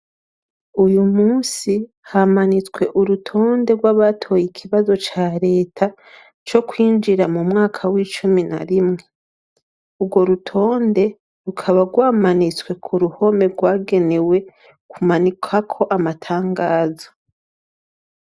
Uyumusi hamanitswe urutonde rwabatoye ikibazo ca reta cokwinjira mumwaka wicumi narimwe ugorutonde rukaba rwamanitswe kuruhome rwagenewe kumanikwako amatangazo